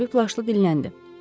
Mavi plaşlı dilləndi.